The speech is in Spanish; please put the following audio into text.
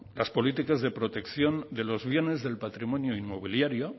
las políticas de protección de los bienes del patrimonio inmobiliario